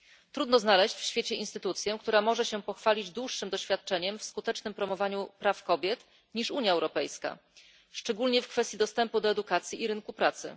Trudno znaleźć w świecie instytucję, która może się pochwalić dłuższym doświadczeniem w skutecznym promowaniu praw kobiet niż Unia Europejska, szczególnie w kwestii dostępu do edukacji i rynku pracy.